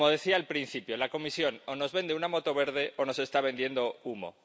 Como decía al principio, la Comisión, o nos vende una moto verde o nos está vendiendo humo.